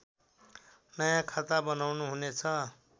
नयाँ खाता बनाउनुहुनेछ